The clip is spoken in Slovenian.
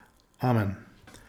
Amen.